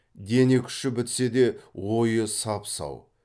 дене күші бітсе де ойы сап сау